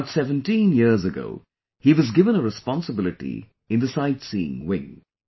About 17 years ago, he was given a responsibility in the Sightseeing wing